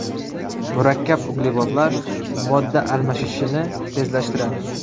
Murakkab uglevodlar modda almashishini tezlashtiradi.